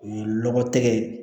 O ye lɔgɔ tɛgɛ ye